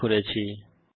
অংশগ্রহনের জন্য ধন্যবাদ